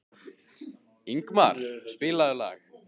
Ingmar, spilaðu lag.